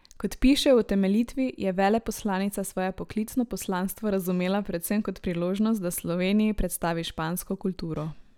Kot piše v utemeljitvi, je veleposlanica svoje poklicno poslanstvo razumela predvsem kot priložnost, da Sloveniji predstavi špansko kulturo.